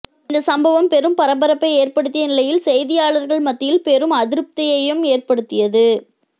இந்த சம்பவம் பெரும் பரபரப்பை ஏற்படுத்திய நிலையில் செய்தியாளர்கள் மத்தியில் பெரும் அதிருப்தியையும் ஏற்படுத்தியது